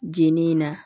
Jenini in na